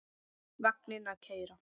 Vagninn að keyra.